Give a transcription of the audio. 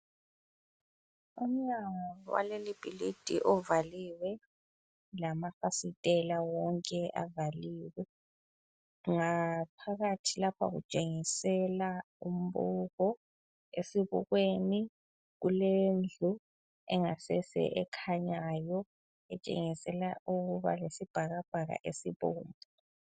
Umnyango waleli bhilidi uvaliwe lamafasitela wonke avaliwe. Ngaphakathi lapha kutshengisela umbuko esibukweni kulendlu engasese ekhanyayo etshengisela ukuba lesibhakabhaka esibomvu.